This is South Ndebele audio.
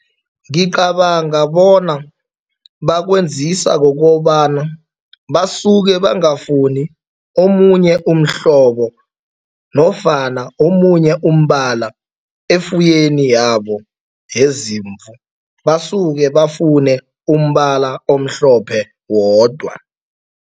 Ngicabanga bona bakwenziswa kukobana basuke bangafuni omunye umhlobo nofana omunye umbala efuyweni yabo yezimvu, basuke bafune umbala omhlophe wodwa.